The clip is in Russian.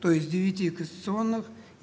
то есть девяти конституционных